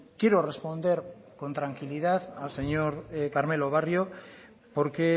quiero responder con tranquilidad al señor carmelo barrio porque